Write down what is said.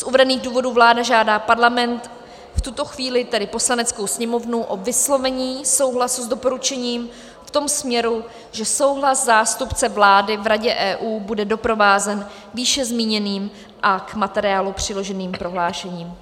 Z uvedených důvodů vláda žádá Parlament, v tuto chvíli tedy Poslaneckou sněmovnu, o vyslovení souhlasu s doporučením v tom směru, že souhlas zástupce vlády v Radě EU bude doprovázen výše zmíněným a k materiálu přiloženým prohlášením.